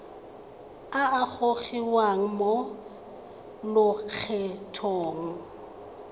a a gogiwang mo lokgethong